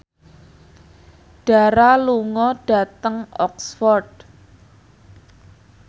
Dara lunga dhateng Oxford